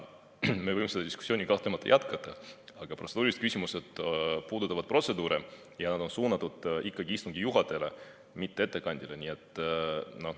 Me võime seda diskussiooni kahtlemata jätkata, aga protseduurilised küsimused puudutavad protseduure ja nad on suunatud ikkagi istungi juhatajale, mitte ettekandjale.